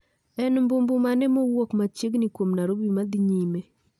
En mbu mbu mane mowuok machiegni kuom narobi madhi nyime